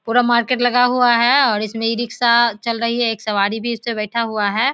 पुरा मार्केट लगा हुआ है और इसमें इ रिक्शा चल रही है एक सवारी भी इस पे बैठा हुआ है।